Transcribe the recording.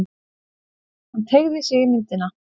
Hann teygði sig í myndina.